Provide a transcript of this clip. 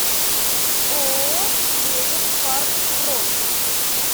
ооо клевер парк бронь